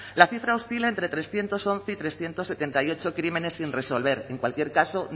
la cifra oscila entre trescientos once y trescientos setenta y ocho crímenes sin resolver en cualquier caso